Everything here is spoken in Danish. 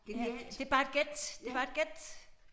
Ja det bare et gæt det bare et gæt